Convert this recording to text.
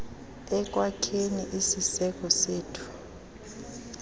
ekwakheni isiseko sethu